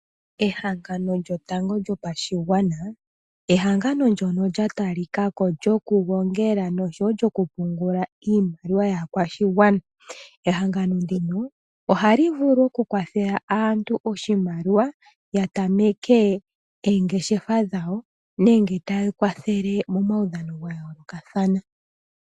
Ehangano lyotango lyopashigwana ehangano ndyono lya talika ko lyokugongela nosho wo okupungula iimaliwa yaakwashigwana. Ehangano ndino ohali vulu okukwathela aantu oshimaliwa ya tameke oongeshefa dhawo nenge taya kwathele momaudhano ga yoolokathana.